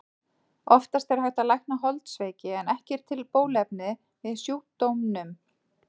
Oftast er hægt að lækna holdsveiki en ekki er til bóluefni við sjúkdómnum.